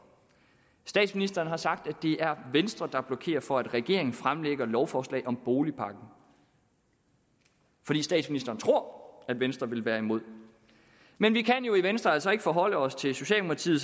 statsministeren har sagt at det er venstre der blokerer for at regeringen fremsætter lovforslag om boligpakken fordi statsministeren tror at venstre vil være imod men vi kan jo i venstre altså ikke forholde os til socialdemokratiet